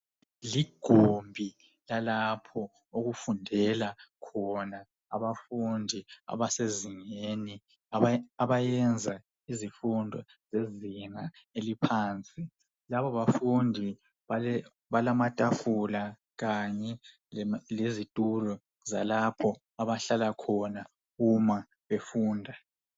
Igumbi lalapho okufundela khona abafundi absezingeni, abayenza izifundo zezinga eliphansi labo bafundi balamatafula kanye lezitulo zalapho abahlala khona uma befunda.